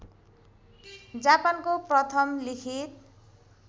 जापानको प्रथम लिखित